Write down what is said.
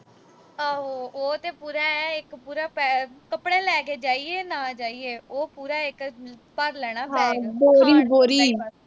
ਆਹੋ। ਉਹ ਤੇ ਆਏਂ ਇੱਕ ਪੂਰਾ ਆਏਂ। ਕੱਪੜੇ ਲੈ ਕੇ ਜਾਈਏ, ਉਹ ਪੂਰਾ ਇੱਕ ਭਰ ਲੈਣਾ